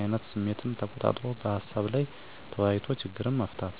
አይነት ስሜትን ተቆጣጥሮ በሀሳቡ ላይ ተወያይቶ ችግርን መፍታት።